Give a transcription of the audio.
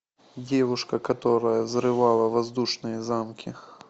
девушка которая взрывала воздушные замки